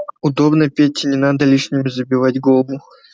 удобно пете не надо лишним забивать голову